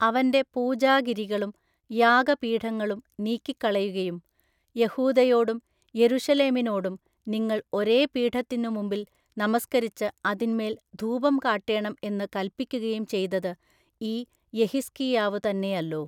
അവന്റെ പൂജാഗിരികളും യാഗപീഠങ്ങളും നീക്കിക്കളകയും യെഹൂദയോടും യെരൂശലേമിനോടും നിങ്ങൾ ഒരേ പീഠത്തിന്നു മുമ്പിൽ നമസ്കരിച്ചു അതിന്മേൽ ധൂപം കാട്ടേണം എന്നു കല്പിക്കയും ചെയ്തതു ഈ യെഹിസ്കീയാവു തന്നേയല്ലോ.